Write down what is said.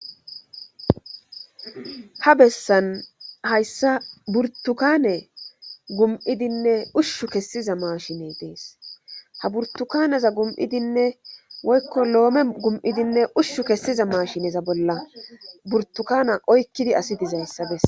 ha bessan hayssa burtukane gum7idinne ushshu kessiza mashiney dees ha burtukaneza gum7idinne woykko loome gum7idinne ushshu kessiza mashineza bolla burtukana oykkidi asi dizayssabessa